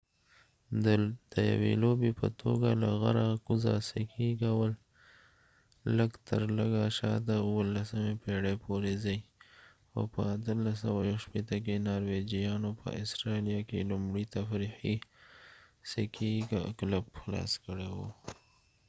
د یوې لوبې په توګه له غره کوزه سکي کول لږ تر لږه شاته 17مې پېړۍ پورې ځي او په 1861 کې نارویجیانو په اسټرالیا کې لومړی تفریحي سکي کلب خلاص کړی و